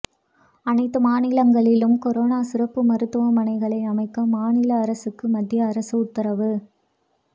அனைத்து மாநிலங்களிலும் கொரோனா சிறப்பு மருத்துவமனைகளை அமைக்க மாநில அரசுகளுக்கு மத்திய அரசு உத்தரவு